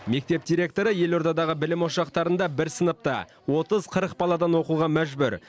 мектеп директоры елордадағы білім ошақтарында бір сыныпта отыз қырық баладан оқуға мәжбүр